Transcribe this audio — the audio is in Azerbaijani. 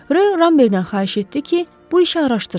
Rö Ramberdən xahiş etdi ki, bu işi araşdırsın.